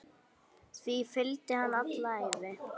Því fylgdi hann alla ævi.